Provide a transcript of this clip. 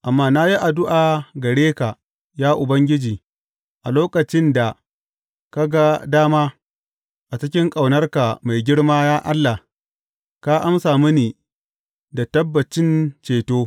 Amma na yi addu’a gare ka, ya Ubangiji, a lokacin da ka ga dama; a cikin ƙaunarka mai girma, ya Allah, ka amsa mini da tabbacin ceto.